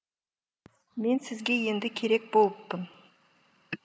мен сізге енді керек болыппын